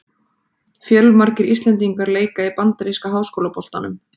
Fjölmargir íslendingar leika í bandaríska háskólaboltanum.